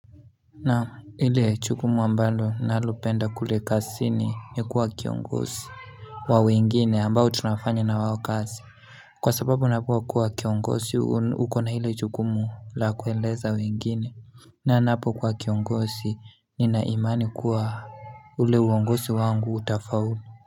Na ile jukumu ambalo nalopenda kule kazini ni kuwa kiongozi wa wengine ambao tunafanya na wao kazi kwa sababu unapo kuwa kiongozi ukona ilo jukumu la kueleza wengine na napokuwa kiongozi nina imani kuwa ule uongozi wangu utafaulu.